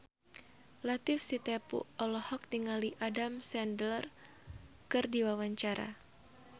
Latief Sitepu olohok ningali Adam Sandler keur diwawancara